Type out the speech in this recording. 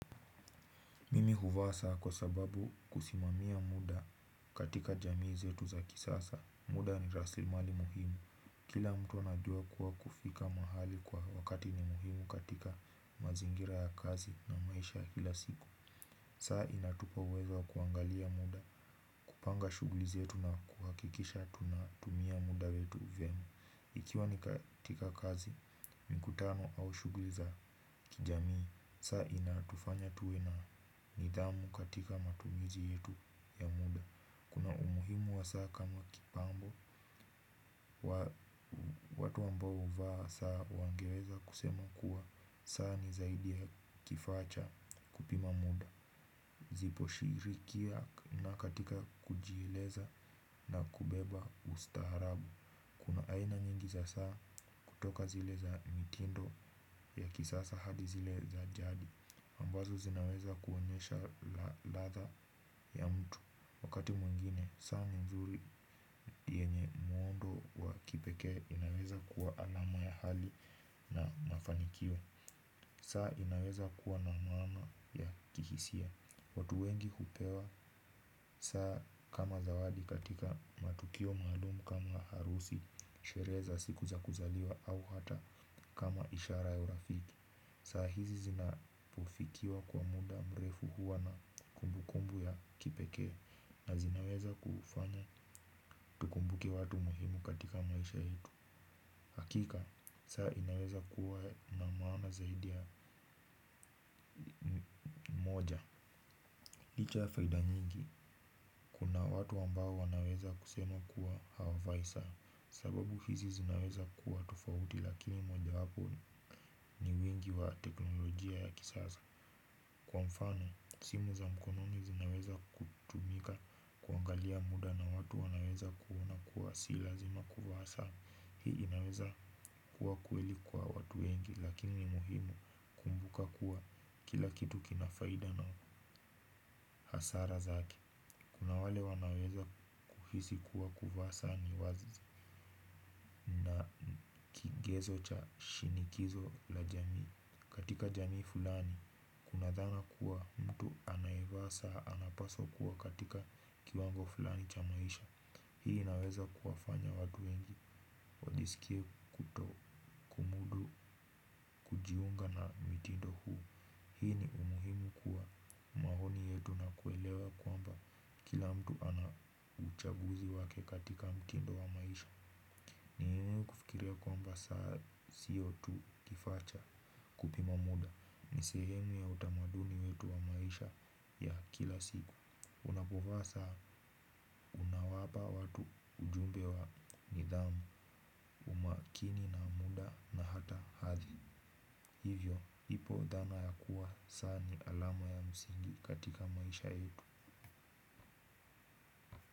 Mimi huvaa saa kwa sababu kusimamia muda katika jamii zetu za kisasa. Muda ni rasimali muhimu. Kila mtu anajua kuwa kufika mahali kwa wakati ni muhimu katika mazingira ya kazi na maisha kila siku. Saa inatupa uwezo wa kuangalia muda, kupanga shughuli zetu na kuhakikisha tunatumia muda wetu vyema. Ikiwa ni katika kazi, mikutano au shughuli za kijamii, saa inatufanya tuwe na nidhamu katika matumizi yetu ya muda. Kuna umuhimu wa saa kama kipambo, watu ambao huvaa saa wangeweza kusema kuwa, saa ni zaidi ya kifaa cha kupima muda. Zipo shirikia na katika kujieleza na kubeba ustaarabu. Kuna aina nyingi za saa kutoka zile za mitindo ya kisasa hadi zile za jadi ambazo zinaweza kuonyesha ladha ya mtu. Wakati mwengine, saa nzuri yenye muundo wa kipekee inaweza kuwa alama ya hali na mafanikio. Saa inaweza kuwa na maana ya kihisia. Watu wengi hupewa saa kama zawadi katika matukio maalumu kama harusi sherehe za siku za kuzaliwa au hata kama ishara ya urafiki. Saa hizi zinapofikiwa kwa muda mrefu huwa na kumbukumbu ya kipekee na zinaweza kufanya tukumbuke watu muhimu katika maisha yetu. Hakika, saa inaweza kuwa na maana zaidi ya moja. Licha ya faida nyingi, kuna watu ambao wanaweza kusema kuwa hawavai saa. Sababu hizi zinawezakuwa tofauti lakini mojawapo ni wingi wa teknolojia ya kisasa. Kwa mfano, simu za mkononi zinaweza kutumika. Kuangalia muda na watu wanaweza kuona kuwa si lazima kuvaa saa. Hii inaweza kuwa kweli kwa watu wengi lakini muhimu kumbuka kuwa kila kitu kina faida na hasara zake. Kuna wale wanaweza kuhisi kuwa kuvaa saa ni kigezo cha shinikizo la jamii. Katika jamii fulani, kuna dhana kuwa mtu anayevaa saa anapaswa kuwa katika kiwango fulani cha maisha. Hii inaweza kuwafanya watu wengi wajisikie kuto na mke katika mtindo wa maisha. Sio tu kifaa cha kupima muda. Ni sehemu ya utamaduni wetu wa maisha ya kila siku. Unapovaa saa unawapa watu ujumbe wa nidhamu umakini na muda na hata hathi. Hivyo, ipo dhana ya kuwa saa ni alama ya msingi katika maisha yetu.